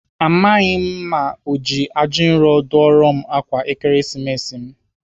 Amaghị m ma ọ ji ajinro dụọra m ákwà Ekeresimesi m.